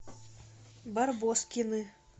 барбоскины